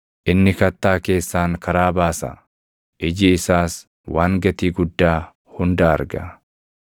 Inni kattaa keessaan karaa baasa; iji isaas waan gatii guddaa hunda arga.